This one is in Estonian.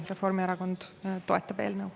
Reformierakond toetab eelnõu.